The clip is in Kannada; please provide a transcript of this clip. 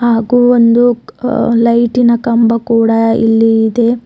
ಹಾಗೂ ಒಂದು ಲೈಟಿನ ಕಂಬ ಕೂಡ ಇಲ್ಲಿ ಇದೆ.